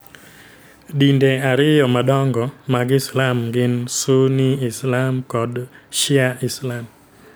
Dinde ariyo madongo mag Islam gin Sunni Islam kod Shia Islam.